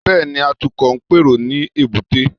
Bẹ́ẹ̀ni, Atukọ̀ ń pèrò ní èbúté